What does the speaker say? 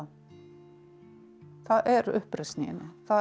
er uppreisn í henni